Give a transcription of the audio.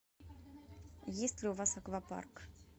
есть ли у вас аквапарк